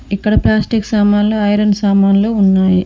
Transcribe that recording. ఇక్కడ ప్లాస్టిక్ సామాన్లు ఐరన్ సామాన్లు ఉన్నాయి.